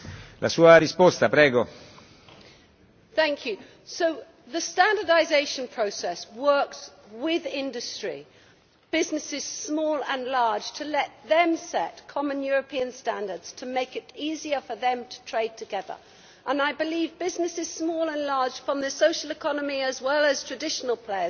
So the standardisation process works with industry, businesses small and large, to let them set common European standards to make it easier for them to trade together, and I believe businesses small and large, from the social economy as well as traditional players, should work together and make that case to the European Commission.